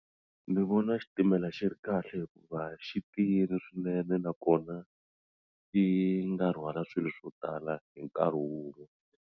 Ni vona xitimela xi ri kahle hikuva xi tiyile swinene nakona ti nga rhwala swilo swo tala hi nkarhi wun'we.